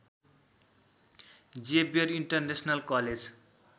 Xavier international college